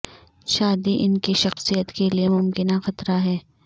شادی ان کی شخصیت کے لئے ممکنہ خطرہ ہے